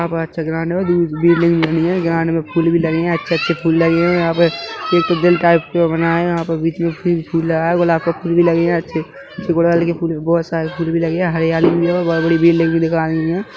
यहाँ प अच्छा ग्रांड है दूब भी लगी है ग्रांड में फूल भी लगे है अच्छे - अच्छे फूल लगे हुवे है यहाँ पे एक दिल टाइप के वो बना है यहाँ पे बीच में पिंक फूल लगा है गुलाब का फूल भी लगे है अच्छे गुड़हल के फूल भी बोहोत सारे फूल भी लगे है हरियाली भी है और बोहोत बड़ी बेल लगी हैं।